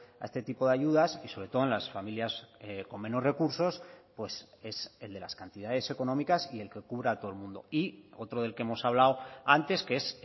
a este tipo de ayudas y sobre todo en las familias con menos recursos pues es el de las cantidades económicas y el que cubra a todo el mundo y otro del que hemos hablado antes que es